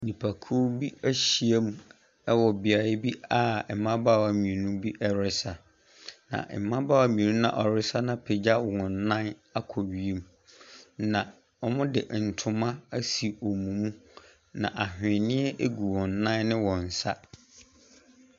Nnipakuw bi ahyiam wɔ beaeɛ bi a mmabaawa mmienu bi resa. Na mmabaawa mmienu no a wɔresa no apegya wɔn nan akɔ wiem. Na wɔde ntoma asi wɔn mu. Na ahweneɛ gu wɔn nan ne wɔn nsa.